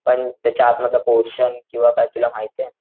पण त्याच्या आत मधला पोरशन किंवा काय तुला माहितेय.